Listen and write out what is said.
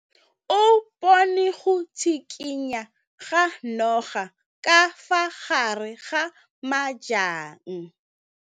O bone go tshikinya ga noga ka fa gare ga majang.